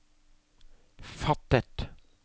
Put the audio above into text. fattet